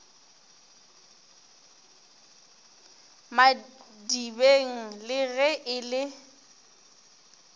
madibeng le ge e le